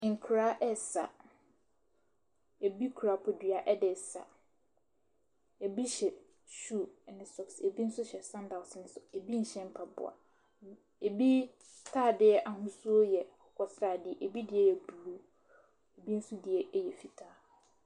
Nkwadaa ɛresa, bi kura bodua de resa, bi hyɛ shoes ne socks, bi nso hyɛ sandals nso, bi nhyɛ mpaboa. Bi ntaadeɛ ahosuo yɛ akokɔsradeɛ, bi deɛ yɛ blue bi nso deɛ yɛ fitaa.